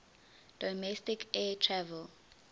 domestic air travel